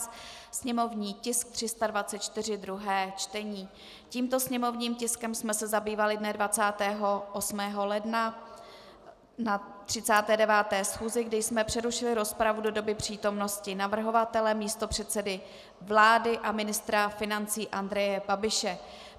Tímto sněmovním tiskem jsme se zabývali dne 28. ledna na 39. schůzi, kdy jsme přerušili rozpravu do doby přítomnosti navrhovatele, místopředsedy vlády a ministra financí Andreje Babiše.